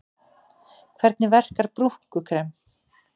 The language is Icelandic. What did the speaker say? Hvernig verkar brúnkukrem?